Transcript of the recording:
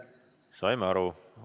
Saime aru.